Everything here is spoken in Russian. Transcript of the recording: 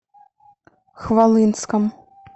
хвалынском